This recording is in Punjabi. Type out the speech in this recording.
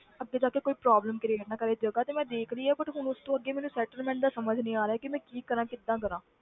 ਅੱਗੇ ਜਾ ਕੇ ਕੋਈ problem create ਨਾ ਕਰੇ ਜਗ੍ਹਾ ਤੇ ਮੈਂ ਦੇਖ ਲਈ ਹੈ but ਹੁਣ ਉਸ ਤੋਂ ਅੱਗੇ ਮੈਨੂੰ settlement ਦਾ ਸਮਝ ਨਹੀਂ ਆ ਰਿਹਾ ਕਿ ਮੈਂ ਕੀ ਕਰਾਂ ਕਿੱਦਾਂ ਕਰਾਂ।